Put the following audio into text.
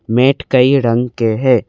Met कई रंग के है।